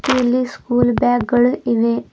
ಇಲ್ಲಿ school bag ಗಳು ಇವೆ.